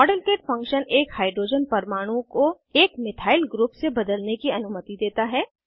model kit function एक hydrogen परमाणु को एक मिथाइल ग्रुप से बदलने की अनुमति देता है